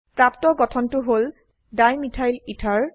প্ৰাপ্ত গঠনটো হল ডাইমিথাইল এথেৰ